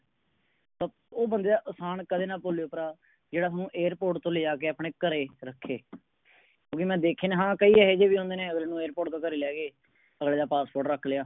ਉਹ ਬੰਦੇ ਦਾ ਇਹਸਾਨ ਕਦੇ ਨਾ ਭੂਲੇਓ ਪ੍ਰਾ ਜਿਹੜਾ ਥੋਨੂੰ Airport ਤੋਂ ਲੈ ਜਾਕੇ ਆਪਣੇ ਘਰੇ ਰੱਖੇ। ਕਿਉਕਿ ਕਿ ਮੈਂ ਦੇਖੇ ਹਾਂ ਕਈ ਏਹੇ ਜਿਹੇ ਵੀ ਹੁੰਦੇ ਨੇ ਅਗਲੇ ਨੂੰ Airport ਤੋਂ ਘਰੇ ਲੈ ਗਏ ਅਗਲੇ ਦਾ Passport ਰੱਖ ਲਿਆ।